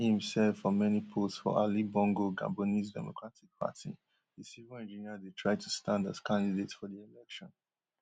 afta im serve for many post for ali bongo gabonese democratic party di civil engineer dey try to stand as candidate for di election